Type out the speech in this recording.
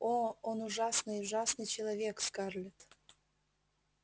о он ужасный ужасный человек скарлетт